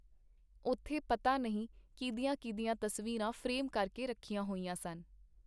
ਉੱਥੇ ਪਤਾ ਨਹੀਂ ਕੀਹਦੀਆਂ ਕੀਹਦੀਆਂ ਤਸਵੀਰਾਂ ਫਰੇਮ ਕਰਕੇ ਰੱਖੀਆਂ ਹੋਈਆਂ ਸਨ.